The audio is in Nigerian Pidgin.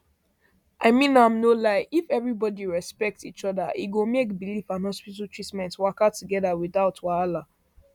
i mean am no lieif everybody respect each other e go make belief and hospital treatment waka together without wahala